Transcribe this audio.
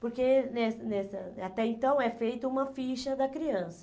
Porque né nessa até então é feita uma ficha da criança.